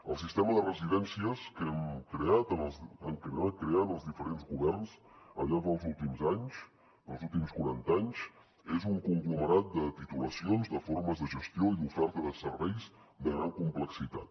el sistema de residències que hem creat que han anat creant els diferents governs al llarg dels últims anys dels últims quaranta anys és un conglomerat de titulacions de formes de gestió i d’oferta de serveis de gran complexitat